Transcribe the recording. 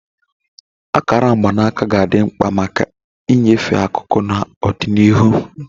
Akara mgbanaka ga-adị mkpa maka ịnyefe akụkụ na ọdịnihu.